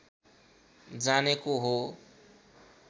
जानेको हो